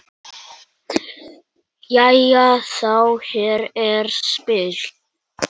Jæja þá, hér er spil.